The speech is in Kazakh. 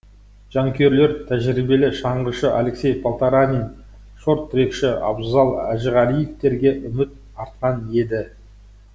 жанкүйерлер тәжірибелі шаңғышы алексей полтаранин шорт трекші абзал әжіғалиевтерге үміт артқан еді